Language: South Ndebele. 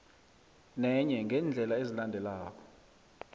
nenye yeendlela ezilandelako